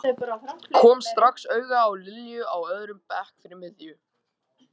Kom strax auga á Lilju á öðrum bekk fyrir miðju.